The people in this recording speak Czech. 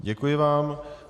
Děkuji vám.